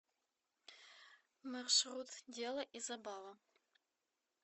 маршрут дело и забава